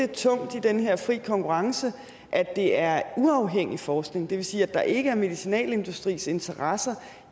tungt i den her fri konkurrence at det er uafhængig forskning det vil sige at der ikke er medicinalindustriinteresser